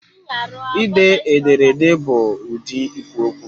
Ide ederede bụ ụdị ikwu okwu